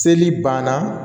Seli banna